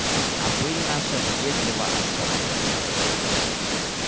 а пыль наша въедлива особо